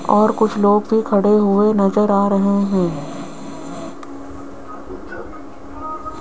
और कुछ लोग भी खड़े हुएं नजर आ रहें हैं।